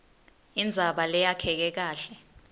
indzaba leyakheke kahle